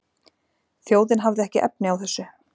Þjóðin hafði ekki efni á þessu